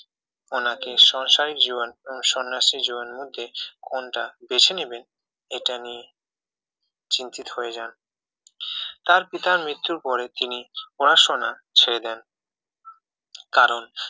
নাকি সংসারী জীবন এবং সন্ন্যাসী জীবনের মধ্যে কোনটা বেছে নেবেন এটা নিয়ে চিন্তিত হয়ে যান তার পিতার মৃত্যুর পরে তিনি পড়াশোনা ছেড়ে দেন কারণ